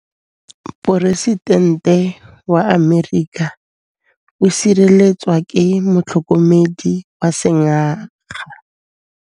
Poresitêntê wa Amerika o sireletswa ke motlhokomedi wa sengaga.